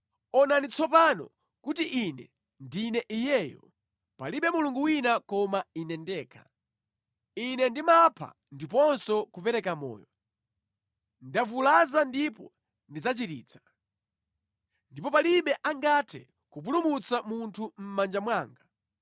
“Onani tsopano kuti Ine ndine Iyeyo! Palibe mulungu wina koma Ine ndekha. Ine ndimapha ndiponso kupereka moyo, ndavulaza ndipo ndidzachiritsa, ndipo palibe angathe kupulumutsa munthu mʼmanja mwanga.